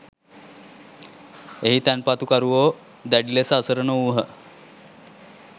එහි තැන්පතුකරුවෝ දැඩි ලෙස අසරණ වූහ.